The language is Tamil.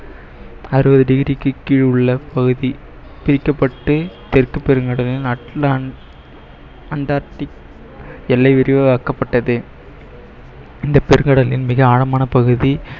அறுபது degree க்கு கீழ் உள்ள பகுதி பிரிக்கப்பட்டு தெற்கு பெருங்கடலில் அண்டார்டிக் எல்லை விரிவாக்கப்பட்டது இந்த பெருங்கடலின் மிக ஆழமான பகுதி